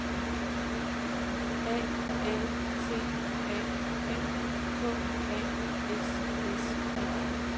A L T A N K A S S E